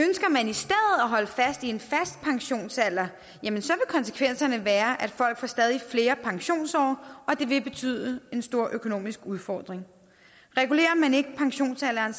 holde fast i en fast pensionsalder vil konsekvenserne være at folk får stadig flere pensionsår og det vil betyde en stor økonomisk udfordring regulerer man ikke pensionsalderen